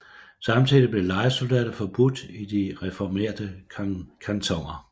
Samtidig blev lejesoldater forbudt i de reformerte kantoner